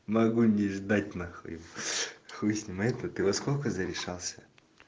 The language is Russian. могу не ждать на хуй хуй с ним а ты во сколько за решался